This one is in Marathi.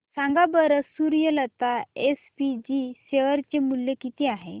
सांगा बरं सूर्यलता एसपीजी शेअर चे मूल्य किती आहे